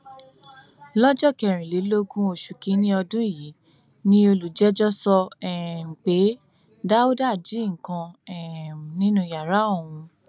lọjọ kẹrìnlélógún oṣù kìnínní ọdún yìí ni olùjẹjọ sọ um pé dáúdà jí nǹkan um nínú yàrá òun